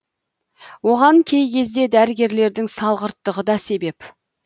оған кей кезде дәрігерлердің салғырттығы да себеп